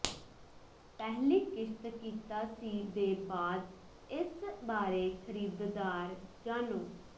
ਪਹਿਲੀ ਕਿਸ਼ਤ ਕੀਤਾ ਸੀ ਦੇ ਬਾਅਦ ਇਸ ਬਾਰੇ ਖਰੀਦਦਾਰ ਜਾਣੋ